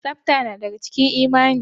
Tsafta na daga cikin imani.